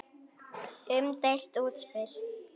Umdeilt útspil.